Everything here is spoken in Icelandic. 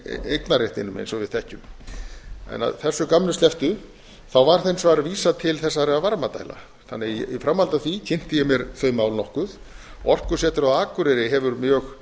eignarréttinum eins og við þekkjum að þessu gamni slepptu var hins vegar vísað til þessara varmadælna í framhaldi af því kynnti ég mér þau mál nokkuð orkusetrið á akureyri hefur mjög